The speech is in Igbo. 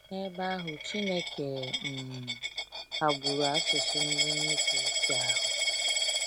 N’ebe ahụ, Chineke um ghagburu asụsụ ndị nnupụisi ahụ